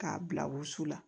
K'a bila wusu la